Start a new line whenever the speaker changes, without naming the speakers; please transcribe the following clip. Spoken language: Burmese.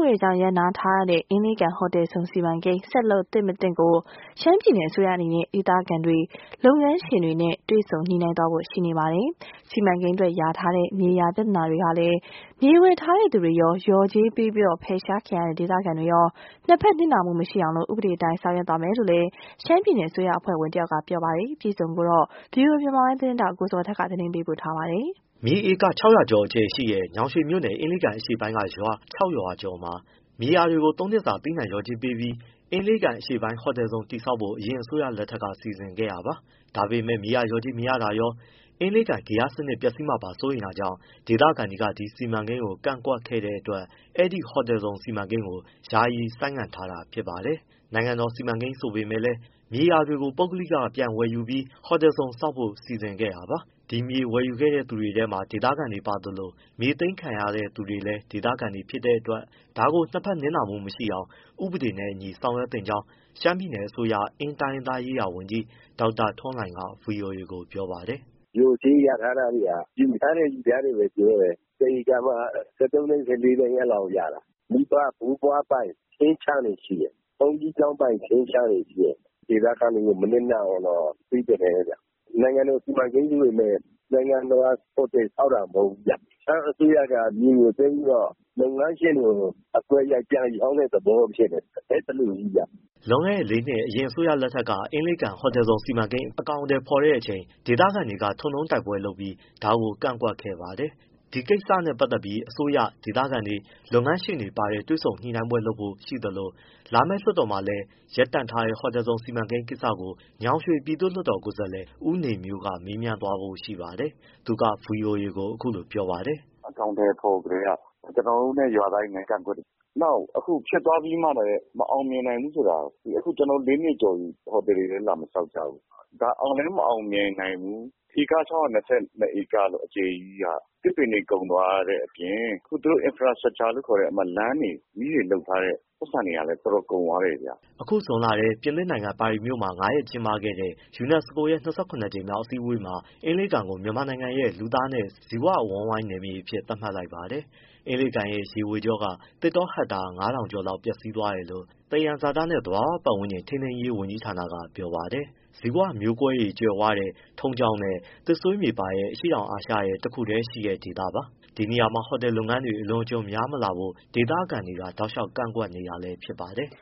ွေကြောင့် ရပ်နားထားရတဲ့ အင်းလေးကန်ဟိုတယ်ဇုန် စီမံကိန်း ဆက်လုပ်သင့်၊ မသင့်ကို ရှမ်းပြည်နယ်အစိုးရအနေနဲ့ ဒေသခံတွေ လုပ်ငန်းရှင်တွေနဲ့ တွေ့ဆုံညှိနှိုင်းသွားဖို့ရှိနေပါတယ်။ စီမံကိန်းအတွက် လျာထားတဲ့ မြေယာ ပြဿနာတွေမှာလည်း မြေဝယ်ထားတဲ့ သူရော လျော်ကြေးပေးပြီး ဖယ်ရှားခံရတဲ့ ဒေသခံတွေရော နှစ်ဘက် နစ်နာမှု မရှိအောင် ဥပဒေအတိုင်း ဆောင်ရွက် သွားသင့်တယ်လို့ ရှမ်းပြည်နယ် အစိုးရအဖွဲ့ဝင် တဦးက ပြောပါတယ်။ ဒီအကြောင်း ဗွီအိုအေ မြန်မာပိုင်းသတင်းထောက် ကိုဇော်ထက် ပေးပို့ထားပါတယ်။
မြေဧက ၆၀၀ အကျယ်ရှိတဲ့ ညောင်ရွှေမြို့နယ် အင်းလေးကန်အရှေ့ပိုင်းရွာ ခြောက် ရွာကျော်မှာ မြေယာတွေကို သုံးနှစ်စကာ သီးနှံ လျော်ကြေးပေးပြီး အင်းလေးကန် အရှေ့ပိုင်း ဟိုတယ်ဇုန် တည်ဆောက်ဖို့ အရင် အစိုးရလက်ထက်က စီစဉ်ခဲ့တာပါ။ ဒါပေမယ့် မြေယာ လျော်ကြေးမရတာရော အင်းလေးကန် ဂေဟစနစ် ပျက်စီးမှာ စိုးရိမ်တာကြောင့် ဒေသခံတွေက ဒီစီမံကိန်းကို ကန့်ကွက်ခဲ့တဲ့အတွက် အဲဒီ ဟိုတယ်ဇုန် စီမံကိန်းကို ယာယီ ဆိုင်းငံထားတာ ဖြစ်ပါတယ်။ နိုင်ငံတော် စီမံကိန်းဆိုပေမယ့်လည်း မြေယာတွေကိုတော့ ပုဂ္ဂိလကတွေ ပြန်ဝယ်ယူပြီး ဟိုတယ်ဇုန် ဆောက်ဖို့ စီစဉ်ခဲ့တာပါ။ ဒီမြေ ဝယ်ယူခဲ့သူတွေထဲမှာ ဒေသခံတွေပါသလို မြေသိမ်းခံရသူတွေကလည်း ဒေသခံတွေ ဖြစ်တဲ့အတွက် ဒါကို နှစ်ဘက် နစ်နာမှု မရှိအောင် ဥပဒေနဲ့အညီ ဆောင်ရွက်သင့်ကြောင်း ရှမ်းပြည်နယ်အစိုးရ အင်းတိုင်းရင်းသားရေးရာဝန်ကြီး ဒေါက်တာထွန်းလှိုင်က ဗွီအိုအေကို ပြောပါတယ်။
“လျော်ကြေး ယူထားတယ်ဆိုတာ ယူထားတယ်။ ယူထားတယ်သာ ပြောတယ် တဧကမှ ၁၃ သိန်း၊ ၁၄ သိန်းလောက်ရတာ မိဘဘိုးဘွားပိုင် ထင်းခြံတွေ ရှိတယ်၊ ဘုန်းကြီးကျောင်းပိုင် ထင်းခြံတွေ ရှိတယ်။ ဒေသခံတွေကို မနစ်နာအောင်တော့ ပေးသင့်တယ်ဗျ။ နိုင်ငံတော် စီမံကိန်းကြီးပေမဲ့ နိုင်ငံတော်က ဟိုတယ်ဆောက်တာ မဟုတ်ဘူးဗျ။ ရှမ်းအစိုးရက မြေကို သိမ်းပြီးတော့ လုပ်ငန်းရှင်တွေကို အကွက် ရိုက်ပြန်ရောင်းတဲ့ သဘော ဖြစ်နေတယ်။ အဲဒီလိုကြီးဗျ။
" လွန်ခဲ့တဲ့ လေးနှစ် အရင်အစိုးရလက်ထက် အင်းလေးကန် ဟိုတယ်ဇုန် စီမံကိန်း အကောင်အထည်ဖော်တဲ့အချိန် ဒေသခံတွေက ထွန်တုံးတိုက်ပွဲတွေလုပ်ပြီး ဒါကို ကန့်ကွက်ခဲ့ပါတယ်။ ဒီကိစ္စနဲ့ ပတ်သက်ပြီး အစိုးရ၊ ဒေသခံတွေ၊ လုပ်ငန်းရှင်တွေပါတဲ့ တွေ့ဆုံညှိနှိုင်းပွဲ လုပ်ဖို့ ရှိသလို လာမယ့် လွတ်တော်မှာလည်း ရပ်တန့်ထားတဲ့ ဟိုတယ်ဇုန် စီမံကိန်းကိစ္စကို ညောင်ရွှေ ပြည်သူ့လွှတ်တော် ကိုယ်စားလှယ် ဦးနေမျိုးက မေးမြန်သွားဖို့ ရှိပါတယ်။ သူက ဗွီအိုအေကို အခုလို ပြောပါတယ်
။ “အကောင်အထည်ဖော်ကတည်းက ကျနော်တို့နဲ့ ရွာသားတွေနဲ့ ကန့်ကွက်တယ်၊ နောက်အခုဖြစ်သွားပြီးမှလည်း မအောင်မြင်နိုင်ဘူးဆိုတာ အခုကျနော်တို့ လေးနှစ်ကျော်ပြီ ဟိုတယ်တွေလည်း လာမဆောက်ကြဘူး။ ဒါအောင်လည်း မအောင်မြင်နိုင်ဘူး။ ဧက ၆၂၂ လောက် အကျယ်ကြီးက သစ်ပင်တွေ ကုန်သွားတဲ့အပြင် သူတို့ infrastructure လို့ခေါ်တဲ့ လမ်းတွေ မီးတွေ လုပ်ထားတဲ့ ပိုက်ဆံတွေကလည်း တော်တော် ကုန်သွားတယ်ဗျ။
” အခုဇွန်လထဲ ပြင်သစ်နိုင်ငံ ပါရီမြို့မှာ ငါးရက် ကျင်းပခဲ့တဲ့ ယူနက်စကိုရဲ့ ၂၇ ကြိမ်မြောက် အစည်းအဝေးမှာ အင်းလေးကန်ကို မြန်မာနိုင်ငံရဲ့ လူသားနဲ့ ဇီဝအဝန်းနယ်မြေအဖြစ် သတ်မှတ်လိုက်ပါတယ်။ အင်းလေးကန်ရဲ့ရေဝေရေကြောက သစ်တောဟက်တာ ၅,၀၀၀ လောက် ပျက်စီးသွားတယ်လို့ သယံဇာတနဲ့ သဘာဝပတ်ဝန်းကျင် ထိန်းသိမ်းရေး ဝန်ကြီးဌာနက ပြောပါတယ်။ ဇီဝမျိုးကွဲ ကြွယ်ဝတဲ့ ထုံးကျောက်နဲ့ သစ်ဆွေးမြေပါတဲ့ အရှေ့တောင်အာရှရဲ့ တခုတည်းရှိတဲ့ ဒေသပါ။ ဒီနေရာမှာ ဟိုတယ်လုပ်ငန်းတွေ အလွန်အကျွံများမလာဖို့ ဒေသခံတွေက တောက်လျှောက် ကန့်ကွက်နေကြတာ ဖြစ်ပါတယ်။